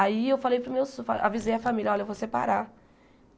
Aí eu falei para os meus so avisei a família, olha, eu vou separar.